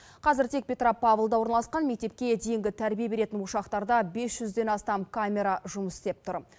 қазір тек петропавлда орналасқан мектепке дейінгі тәрбие беретін ошақтарда бес жүзден астам камера жұмыс істеп тұр